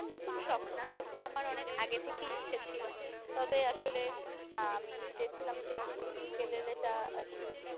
না না এটা আমার নতুন শখ না এটা আমার অনেক আগে থেকেই ইচ্ছে ছিলো তবে আসলে আমি চেষ্টা করছিলাম যে ইউকেলেলে টা আরকি